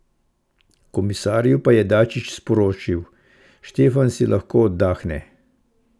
Komisarju pa je Dačić sporočil: "Štefan si lahko oddahne.